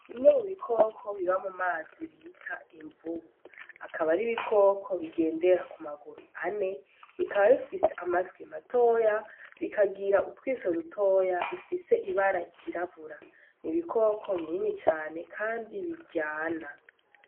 Bimwe mu bikoko biba mu mazi bita imvubu akaba ari ibikoko bigendera ku maguru ane bikaba bifise amatwi matoya bikagira utwiso dutoya bifise ibararyirabura ni ibikoko binini cane, kandi biryana.